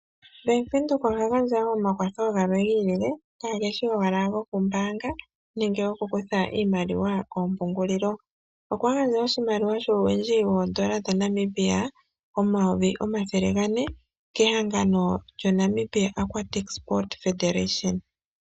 Bank Windhoek oha gandja woo omakwatho gamwe giilile kaageshi owala goombaanga nenge goku kutha iimaliwa kompungulilo. Okwa gandja oshimaliwa shuuwindji woodola dha Namibia omayovi omathele gane kehangano lyo Namibia Aquatic Sport Federation.